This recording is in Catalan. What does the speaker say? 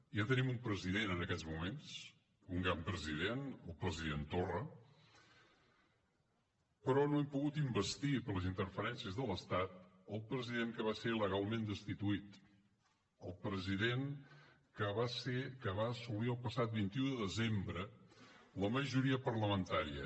ja tenim un president en aquests moments un gran president el president torra però no hem pogut investir per les interferències de l’estat el president que va ser il·legalment destituït el president que va assolir el passat vint un de desembre la majoria parlamentària